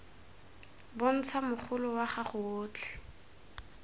bontsha mogolo wa gago otlhe